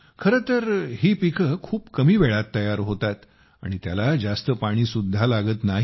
खरं तर ही पिके खूप कमी वेळात तयार होतात आणि त्याला जास्त पाणीसुद्धा लागत नाही